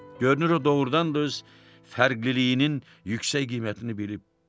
Görünür o doğurdan da öz fərqliliyinin yüksək qiymətini bilib.